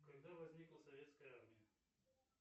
когда возникла советская армия